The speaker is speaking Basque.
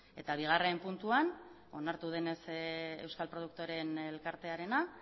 eta bigarren puntuan onartu denez euskal produktoreen elkartearena